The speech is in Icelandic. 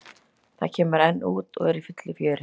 Það kemur enn út og er í fullu fjöri.